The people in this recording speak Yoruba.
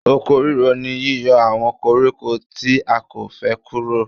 Oko ríro ni yíyọ àwọn koríko tí a kò fẹ́ kúrò.